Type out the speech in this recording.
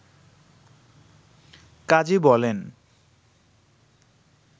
কাজী বলেন